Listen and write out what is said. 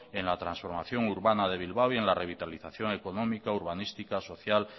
en la transformación urbana de bilbao y en la revitalización económica urbanística social